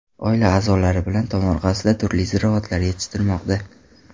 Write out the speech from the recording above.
Oila a’zolari bilan tomorqasida turli ziroatlar yetishtirmoqda.